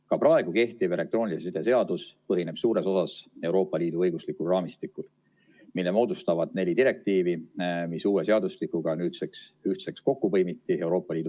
Ka praegu kehtiv elektroonilise side seadus põhineb suures osas Euroopa Liidu õiguslikul raamistikul, mille moodustavad neli direktiivi, mis uue seadustikuga nüüd Euroopa Liidu tasandil ühtseks kokku põimiti.